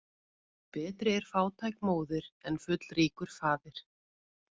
Betri er fátæk móðir en fullríkur faðir.